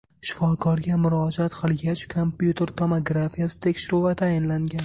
Shifokorga murojaat qilgach, kompyuter tomografiyasi tekshiruvi tayinlangan.